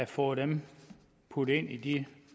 fået dem puttet ind i de